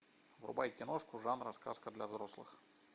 врубай киношку жанра сказка для взрослых